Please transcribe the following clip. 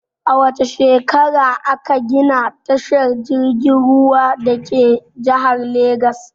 A wace shekara a ka gina tashar jirgin ruwan dake jihar Legas?